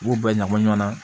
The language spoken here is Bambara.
U b'u bɛɛ ɲagami ɲɔgɔn na